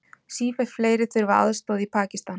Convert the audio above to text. Sífellt fleiri þurfa aðstoð í Pakistan